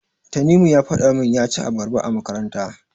Tanimu ya faɗa min ya ci abarba a makaranta.